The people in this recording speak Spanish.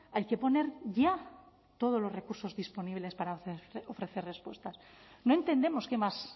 hay que poner ya todos los recursos disponibles para ofrecer respuestas no entendemos que más